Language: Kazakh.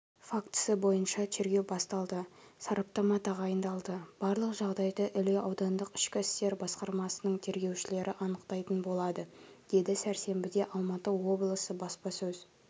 фактісі бойынша тергеу басталды сараптама тағайындалды барлық жағдайды іле аудандық ішкі істер басқармасының тергеушілері анықтайтын болады деді сәрсенбіде алматы облысы баспасөз